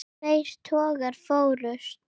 Tveir togarar fórust.